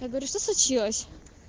я говорю что случилось